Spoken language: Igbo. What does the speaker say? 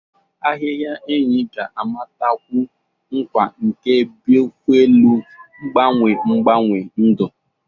Ahịhịa enyi ga-amatakwu nkwa nke biofuelu, mgbanwe mgbanwe ndụ.